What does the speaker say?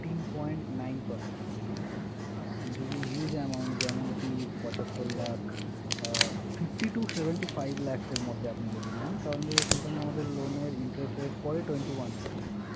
fourteen point nine percent থেকে। আর আপনি যদি huge amount, যেমনকি পঁচাত্তর লাখ আহ fifty to seventy five lakhs এর মধ্যে আপনি যদি নেন। তাহলে সেখানে আমাদের loan এর interest rate পড়ে twenty one percent ।